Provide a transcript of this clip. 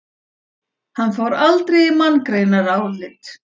Hann fór aldrei í manngreinarálit.